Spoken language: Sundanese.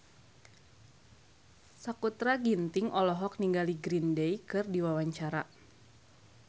Sakutra Ginting olohok ningali Green Day keur diwawancara